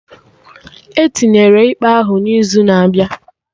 Etinyere ikpe ahụ n'izu na-abịa